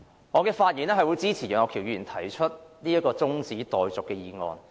我發言支持楊岳橋議員提出的中止待續議案。